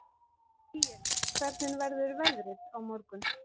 Níels, hvernig verður veðrið á morgun?